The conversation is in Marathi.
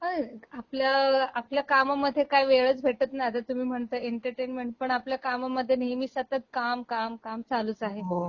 अ, आपल्या आपल्या काममधे काही वेळच भेटत नाही आता तुम्ही म्हणताय एंटरटेनमेंट, पण आपल्या कामामध्ये नेहमी सतत काम, काम, काम चालूच आहे